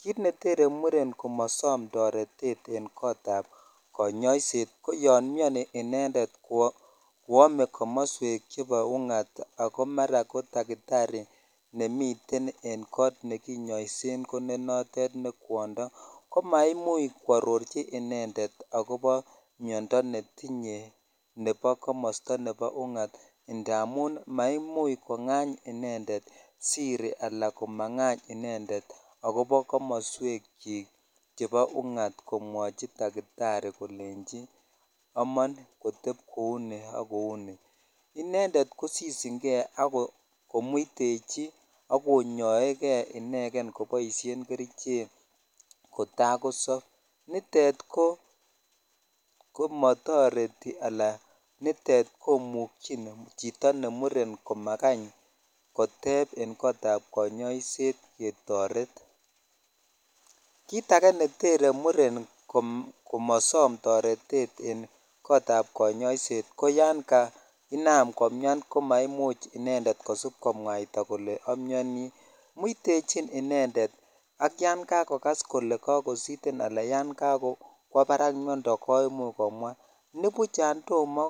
Kiit neteren muren komasom toretet eng' kotab kanyoiset ko yon miyoni inendet koomei komoswek chebo ung'at ako mara ko dakitari nemiten en koot nekinyoisen ko ne notet ne kwondo komaimuuch kwarorchi inendet akobo miyondo netinyei nebo komosta nebo ung'at ndamun maimuch kong'any inendet siri ala komang'any inendet akobo komoswekchik chebo ung'at komwochi dakitari kolenjin omon kotep kou ni ak kou ni inendet kosishingei akomuitechi akonyoeikei ineken koboishe kerichek kotakosop nitet komatoreti ala nitet komuchi chito ne muren komakany kotep eng' kotab kanyoiset ketoret kiit age netere muren komasom toretet en kotab kanyoiset ko yon kainaam komyam komaimuch inendet kosip komwaita kole amiyoni muitechin inendet ak yon kakokas kole kakositen alan yan kakwo barak miyondo koimuch komwa nipuch yan tomo